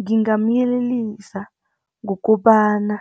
Ngingamyelelisa ngokobana